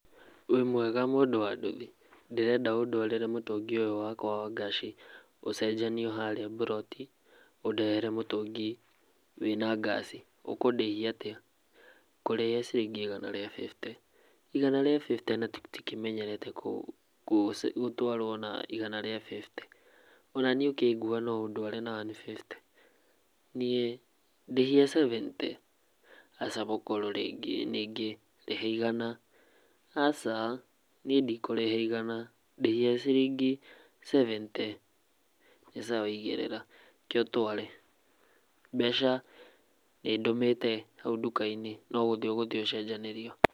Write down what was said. Wĩ mwega mũndũ wa nduthi ndĩrenda ũndwarĩre mũtũngi ũyũ wakwa wa ngaci ũcenjanio haria mburoti ũndehere mũtũngi wĩna ngaci, ũkũndĩhia atia? Ngũkũrĩhia ciringi igana rĩa fifty, igana rĩa fifty na tũtimenyerete gũtwarwo na igana ria fifty onanie ũkĩngua no ũkĩndware na one fifty niĩ ndĩhia sevente, aca mũkũrũ rĩngĩ nĩngĩ rĩha igana aca niĩ ndikũrĩha igana ndĩhia ciringi seventy nĩ sawa igĩrĩra kee ũtware mbeca nĩndũmĩte hau ndũkainĩ no gũthiĩ ũgũthiĩ ũcenjanĩrio.